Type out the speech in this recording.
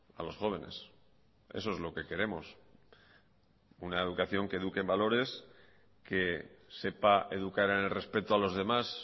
a los jóvenes eso es lo que queremos una educación que eduque en valores que sepa educar en el respeto a los demás